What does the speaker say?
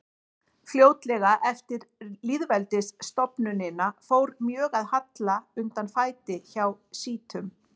Fljótlega eftir lýðveldisstofnunina fór mjög að halla undan fæti hjá sjítum.